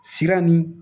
Sira ni